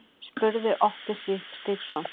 spurði Otti Stígsson.